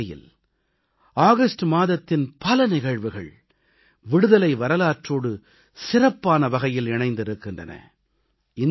ஒரு வகையில் ஆகஸ்ட் மாதத்தின் பல நிகழ்வுகள் விடுதலை வரலாற்றோடு சிறப்பான வகையில் இணைந்திருக்கின்றன